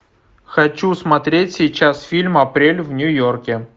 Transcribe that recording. хочу смотреть сейчас фильм апрель в нью йорке